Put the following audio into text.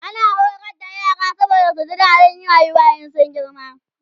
ana horar da yara saboda su ji dadin rayuwa in sun girma